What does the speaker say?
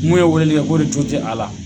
Mun ye weleli kɛ ko o de jɔ te a la .